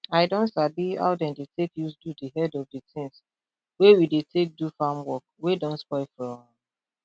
i don sabi how dem dey take use do di head of di tins wey we dey take do farm work wey don spoil from